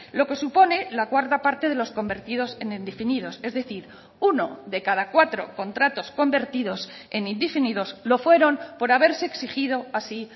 lo que supone la cuarta parte de los convertidos en indefinidos es decir uno de cada cuatro contratos convertidos en indefinidos lo fueron por haberse exigido así